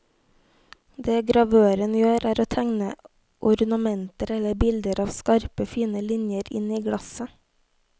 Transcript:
Det gravøren gjør, er å tegne ornamenter eller bilder av skarpe, fine linjer inn i glasset.